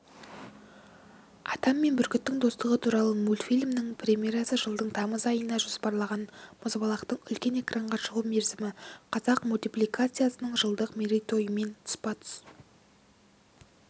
адам мен бүркіттің достығы туралы мультфильмнің премьерасы жылдың тамыз айына жоспарланған мұзбалақтың үлкен экранға шығу мерзімі қазақ мультипликациясының жылдық мерейтойымен тұспа-тұс